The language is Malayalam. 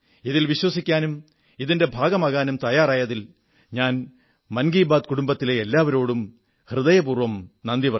ഇതിൽ വിശ്വസിക്കാനും ഇതിന്റെ ഭാഗമാകാനും തയ്യാറായതിൽ ഞാൻ മൻ കീ ബാത് കുടുംബത്തിലെ എല്ലാവരോടും ഹൃദയപൂർവ്വം നന്ദി പറയുന്നു